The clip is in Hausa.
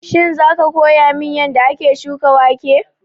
Shin za ka koya min yanda ake shuka wake?